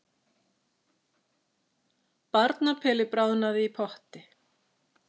Barnapeli bráðnaði í potti